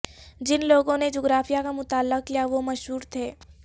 جن لوگوں نے جغرافیہ کا مطالعہ کیا وہ مشہور تھے